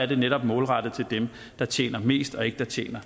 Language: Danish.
det netop målrettet til dem der tjener mest og ikke til